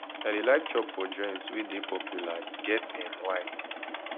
i dey like chop for joint wey dey popular e get um why